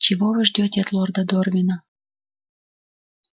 чего вы ждёте от лорда дорвина